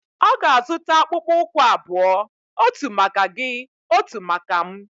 Ọ ga-azụta akpụkpọ ụkwụ abụọ. otu maka gị, otu maka m